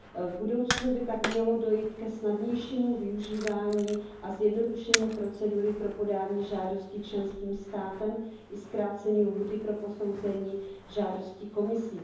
V budoucnu by tak mělo dojít ke snadnějšímu využívání a zjednodušení procedury pro podání žádosti členským státem i zkrácení lhůty pro posouzení žádosti Komisí.